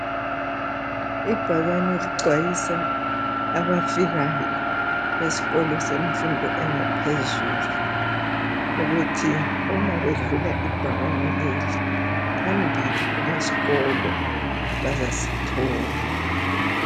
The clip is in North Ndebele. Ibhakane lixwayisa abafikayo esikolo semfundo engaphezulu ukuthi uma bedlula ibhakane leli phambili kulesikolo, bazasithola.